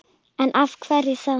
En af hverju þá?